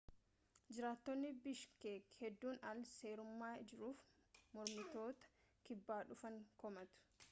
jiraattonni bishkeeki heeddun al-seerummaa jiruuf mormitoota kibbaa dhufan komatu